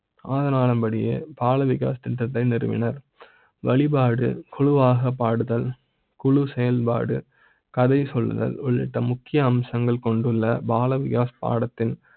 அதனால் அப்படியே பால் விகார் திட்டத்தை நிறுவி னர் வழிபாடு குழுவாக பாடுதல் குழு செயல்பாடு, கதை சொல்லுதல் உள்ளிட்ட முக்கிய அம்சங்கள் கொண்டுள்ள பால் விகார் பாடத்தில்